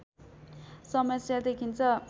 समस्या देखिन्छ